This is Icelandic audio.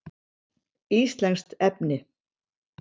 Íslenskt lesefni: